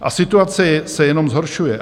A situace se jenom zhoršuje.